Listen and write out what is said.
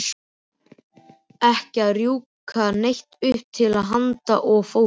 Ekki að rjúka neitt upp til handa og fóta.